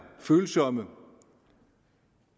følsomme